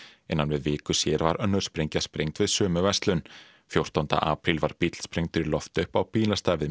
innan við viku síðar var önnur sprengja sprengd við sömu verslun fjórtánda apríl var bíll sprengdur í loft upp á bílastæði við